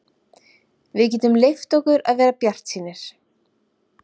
Við getum leyft okkur að vera bjartsýnir.